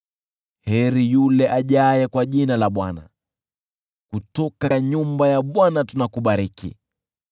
Heri yule ajaye kwa jina la Bwana . Kutoka nyumba ya Bwana tunakubariki.